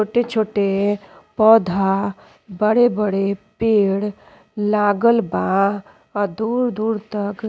छोटे-छोटे पौधा बड़े-बड़े पेड़ लागल बा और दूर-दूर तक --